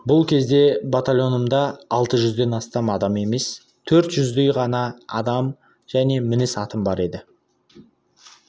бұл кезде батальонымда алты жүзден астам адам емес төрт жүздей ғана адам және мініс атым бар еді